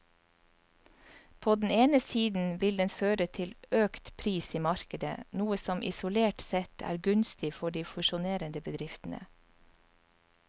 På den ene siden vil den føre til økt pris i markedet, noe som isolert sett er gunstig for de fusjonerende bedriftene.